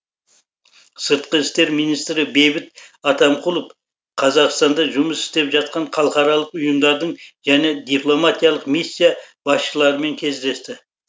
сыртқы істер министрі бейбіт атамқұлов қазақстанда жұмыс істеп жатқан халықаралық ұйымдардың және дипломатиялық миссия басшыларымен кездесті